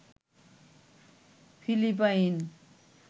Philippine